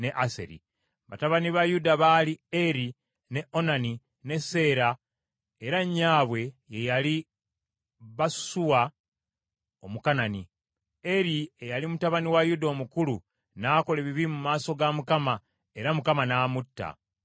Batabani ba Yuda baali Eri, ne Onani ne Seera, era nnyabwe ye yali Basusuwa Omukanani. Eri, eyali mutabani wa Yuda omukulu n’akola ebibi mu maaso ga Mukama , era Mukama n’amutta.